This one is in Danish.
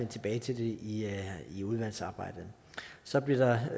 tilbage til det i i udvalgsarbejdet så blev der